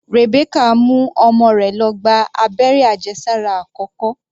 Rebecca mú ọmọ rẹ̀ lọ gba abẹ́rẹ́ àjẹsára àkọ́kọ́.